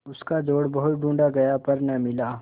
उसका जोड़ बहुत ढूँढ़ा गया पर न मिला